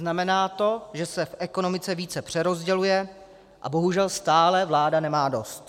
Znamená to, že se v ekonomice více přerozděluje, a bohužel stále vláda nemá dost.